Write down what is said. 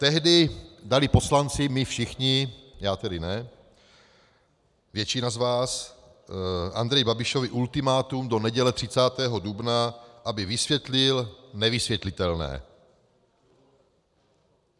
Tehdy dali poslanci, my všichni, já tedy ne, většina z vás, Andreji Babišovi ultimátum do neděle 30. dubna, aby vysvětlil nevysvětlitelné.